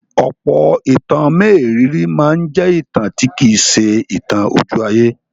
Ọ̀pọ̀ ìtàn mérìíìírì máa ń jẹ́ ìtàn tí kì í ṣe ìtàn ojú-ayé.